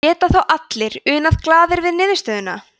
geta þá allir unað glaðir við niðurstöðuna